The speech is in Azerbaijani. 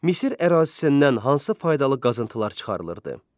Misir ərazisindən hansı faydalı qazıntılar çıxarılırdı?